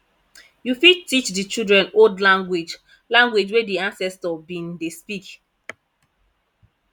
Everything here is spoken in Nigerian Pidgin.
you fit teach di children old language language wey di ancestor been dey speak